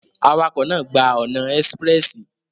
Awakọ naa gba ọna espressi